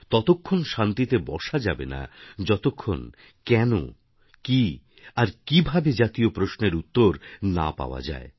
ততক্ষণ শান্তিতে বসা যাবে না যতক্ষণ কেন কী আর কীভাবেজাতীয় প্রশ্নেরউত্তর না পাওয়া যায়